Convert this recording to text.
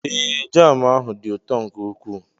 Ee, jam ahụ dị ụtọ nke ukwuu.